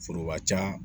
Foroba ca